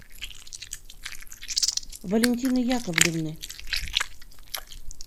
валентины яковлевны